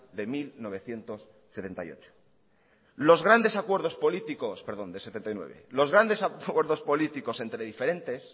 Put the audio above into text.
de mil novecientos setenta y nueve los grande acuerdos políticos entre diferentes